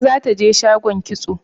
Umma za ta je shagon kitso.